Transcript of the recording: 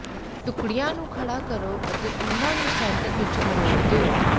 ਟੁਕੜਿਆਂ ਨੂੰ ਖੜ੍ਹਾ ਕਰੋ ਅਤੇ ਉਨ੍ਹਾਂ ਨੂੰ ਸੈਂਟਰ ਵਿੱਚ ਮਰੋੜ ਦਿਓ